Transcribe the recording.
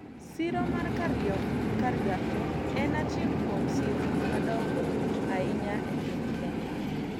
siro mar Kariokoo en achiel kuom sirni madong'o ahinya e piny Kenya